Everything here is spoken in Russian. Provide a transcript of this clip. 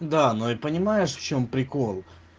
да но и понимаешь в чём прикол